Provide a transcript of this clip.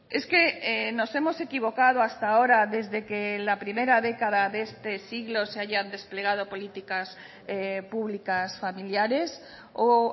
es que nos hemos equivocado hasta ahora desde que la primera década de este siglo se hayan desplegado políticas públicas familiares o